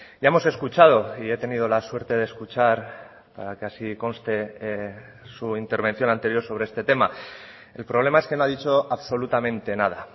ya hemos escuchado y he tenido la suerte de escuchar para que así conste su intervención anterior sobre este tema el problema es que no ha dicho absolutamente nada